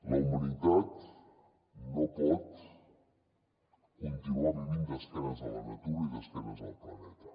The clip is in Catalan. la humanitat no pot continuar vivint d’esquena a la natura i d’esquena al planeta